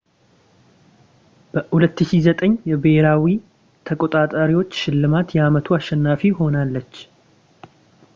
በ2009 የብሄራዊ ተቆጣጣሪዎች ሽልማት የአመቱ አሸናፊ ሆናለች